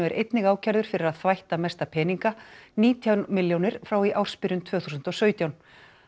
er einnig ákærður fyrir að þvætta mesta peninga nítján milljónir frá í ársbyrjun tvö þúsund og sautján